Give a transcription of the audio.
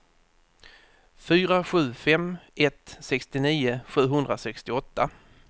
fyra sju fem ett sextionio sjuhundrasextioåtta